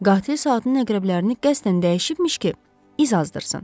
Qatil saatın əqrəblərini qəsdən dəyişibmiş ki, iz azdırsın.